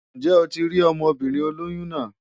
Ǹjẹ́ o ti rí ọmọbìnrin olóyún náà?